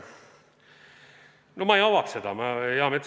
No ma ei avaks seda teemat.